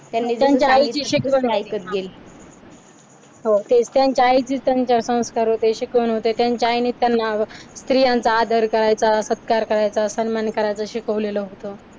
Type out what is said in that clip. होते त्यांच्या आईचेच त्यांच्यावर संस्कार होते चिकन होते त्यांच्या आईनेच त्यांना स्त्रियांचा आदर करायचा, सत्कार करायचा, सन्मान करायच शिकवलेलं होतं.